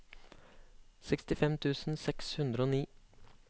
sekstifem tusen seks hundre og ni